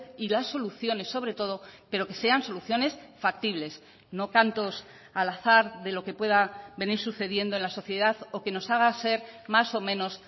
y las soluciones sobre todo pero que sean soluciones factibles no cantos al azar de lo que pueda venir sucediendo en la sociedad o que nos haga ser más o menos